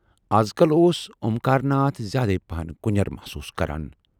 اَزکل اوس اومکار ناتھ زیادے پہن کُنٮ۪ر محسوٗس کران۔